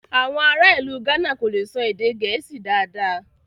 Awọn ará ilù Gána kò lè sọ èdè Gẹẹsi dádá